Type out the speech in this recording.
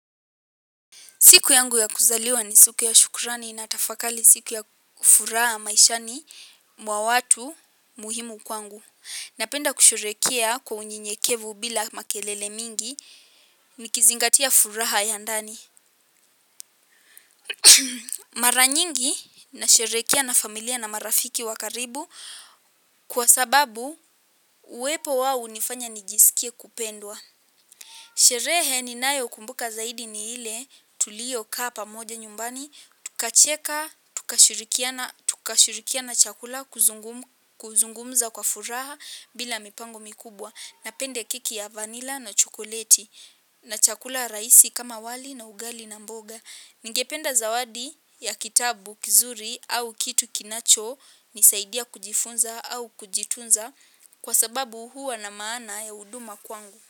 Siku yangu ya kuzaliwa ni siku ya shukrani natafakari siku ya furaha maishani mwa watu muhimu kwangu. Napenda kusherehekea kwa unyenyekevu bila makelele mingi nikizingatia furaha ya ndani. Mara nyingi nasherehekea na familia na marafiki wa karibu kwa sababu uwepo wao hunifanya nijisikie kupendwa. Sherehe ninayokumbuka zaidi ni ile tulio kaa pamoja nyumbani. Tukacheka, tukashirikiana chakula kuzungumza kwa furaha bila mipango mikubwa. Napende keki ya vanila na chokoleti na chakula rahisi kama wali na ugali na mboga. Ningependa zawadi ya kitabu kizuri au kitu kinachonisaidia kujifunza au kujitunza. Kwa sababu huwa na maana ya huduma kwangu. Kwa hivyo.